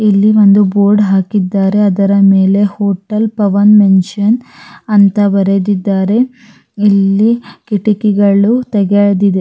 ಇಲ್ಲಿ ಒಂದು ಬೋರ್ಡ್ ಹಾಕಿದ್ದಾರೆ ಅದರ ಮೇಲೆ ಹೋಟೆಲ್ ಪವನ್ ಮೆಂಷನ್ ಅಂತ ಬರೆದಿದ್ದರೆ ಇಲ್ಲಿ ಕಿಟಕಿಗಳು ತೆಗೆದಿದೆ.